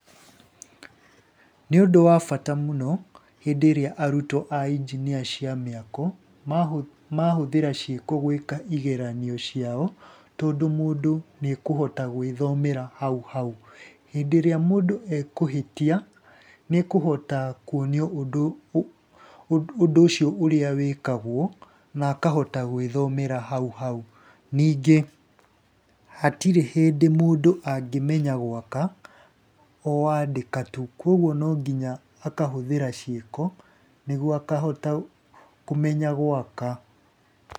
Nĩ ũndũ wa bata mũno hĩndĩ ĩrĩaarutwo a injinia cia mĩako, mahũthĩra ciĩko gwĩka igeranio ciao, tondũ mũndũ nĩakũhota gwĩthomera hauhau. Hĩndĩ ĩrĩa mũndũ ekũhĩtia nĩekũhota kuonio ũndũ ũcio ũrĩa wĩkagwo na akahota gwĩthomera hau hau. Ningĩ hatirĩ hĩndĩ mũndũ angĩmenya gũaka o andĩka tu, koguo no nginya akahũthira ciĩko nĩguo akahota kũmenya gũaka.